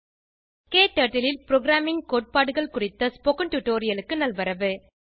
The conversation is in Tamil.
க்டர்ட்டில் ல் ப்ரோகிராமிங் கோட்பாடுகள் குறித்த டுடோரியலுக்கு நல்வரவு